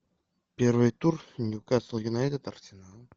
первый тур ньюкасл юнайтед арсенал